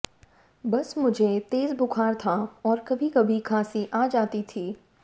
बस मुझे तेज़ बुख़ार था और कभी कभी खांसी आ जाती थी